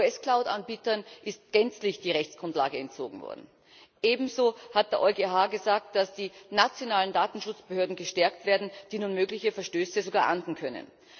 US Cloud Anbietern ist gänzlich die Rechtsgrundlage entzogen worden. Ebenso hat der EuGH gesagt, dass die nationalen Datenschutzbehörden gestärkt werden, die nun mögliche Verstöße sogar ahnden können.